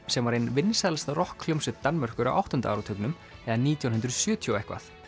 sem var ein vinsælasta rokkhljómsveit Danmerkur á áttunda áratugnum eða nítján hundruð og sjötíu og eitthvað